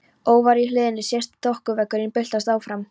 Ofar í hlíðinni sést þokuveggurinn byltast áfram.